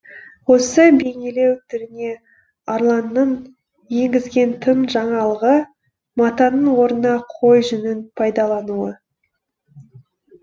осы бейнелеу түріне арланның енгізген тың жаңалығы матаның орнына қой жүнін пайдалануы